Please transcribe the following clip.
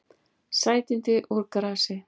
Sætindi úr grasi